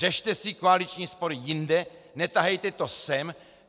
Řešte si koaliční spory jinde, netahejte to sem!